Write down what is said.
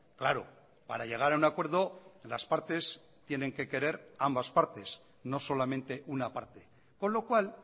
claro para llegar a un acuerdo las partes tienen que querer ambas partes no solamente una parte con lo cual